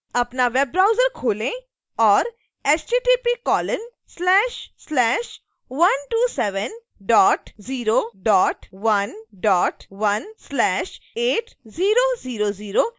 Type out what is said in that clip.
अपना web browser खोलें और